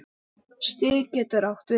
Stig getur átt við